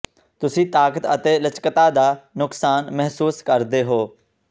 ਤੁਸੀਂ ਤਾਕਤ ਅਤੇ ਲਚਕਤਾ ਦਾ ਨੁਕਸਾਨ ਮਹਿਸੂਸ ਕਰਦੇ ਹੋ